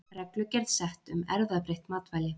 Reglugerð sett um erfðabreytt matvæli